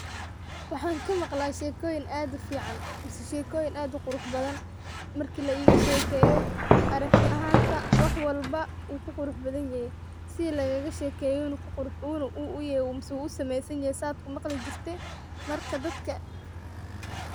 Waxan kamaqla shekoyin aad ufican marka laigashekeyo aragti ahanta ayu kuqurx badan sida lagashekeye ayu uegyehe marka dadka.